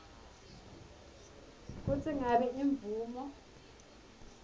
kutsi ngabe imvumo